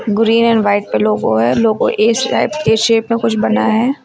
Green and white का logo है logo A shape A shape में कुछ बना है।